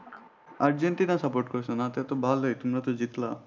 Argentina support করছ না তা তো ভালোই তোমরা তো জিতলা।